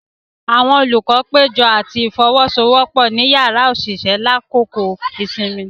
Awọn olukọ pejọ ati ifowosowopo ni yàrá oṣiṣẹ lakoko isinmi.